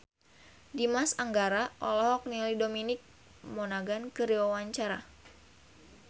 Dimas Anggara olohok ningali Dominic Monaghan keur diwawancara